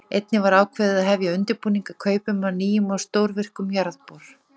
Einnig var ákveðið að hefja undirbúning að kaupum á nýjum og stórvirkum jarðbor.